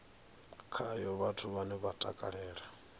khayo vhathu vhane vha takalela